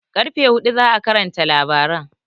Ƙarfe huɗu za'a karanta labaran